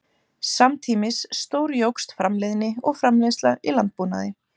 Samtímis stórjókst framleiðni og framleiðsla í landbúnaði.